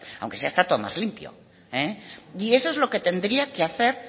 aunque sea está todo más limpio y eso es lo que tendría que hacer